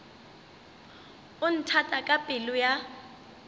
o nthata ka pelo ya